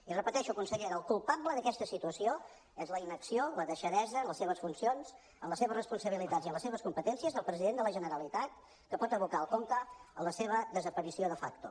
i ho repeteixo consellera el culpable d’aquesta situació és la inacció la deixadesa en les seves funcions en les seves responsabilitats i en les seves competències del president de la generalitat que pot abocar el conca a la seva desaparició de facto